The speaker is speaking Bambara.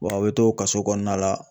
a bɛ to kaso kɔnɔna la